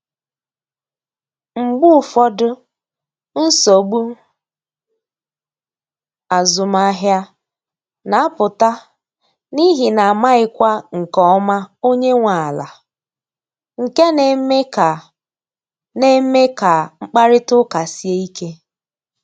Mgbe ụfọdụ, nsogbu azụmahịa na apụta n’ihi na amaghịkwa nke ọma onye nwe ala, nke na eme ka na eme ka mkparịta ụka sie ike